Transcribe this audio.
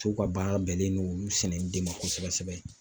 Musow ka baara bɛnnen don olu sɛnɛli de ma kosɛbɛ sɛbɛ